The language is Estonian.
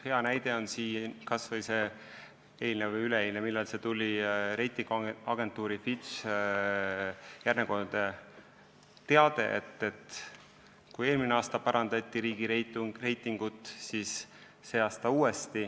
Hea näide on kas või eilne või üleeilne reitinguagentuuri Fitch teade: meie riigireitingut parandati eelmine aasta ja uuesti see aasta.